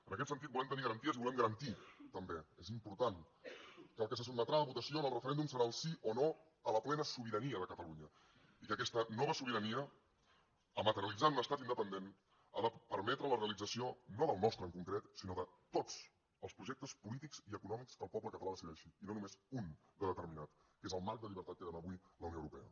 en aquest sentit volem tenir garanties i volem garantir també és important que el que se sotmetrà a votació en el referèndum serà el sí o no a la plena sobirania de catalunya i que aquesta nova sobirania a materialitzar en un estat independent ha de permetre la realització no del nostre en concret sinó de tots els projectes polítics i econòmics que el poble català decideixi i no només un de determinat que és el marc de llibertat que dóna avui la unió europea